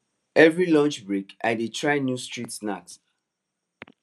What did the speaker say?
every lunch break i dey try new street snack